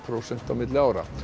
prósent milli ára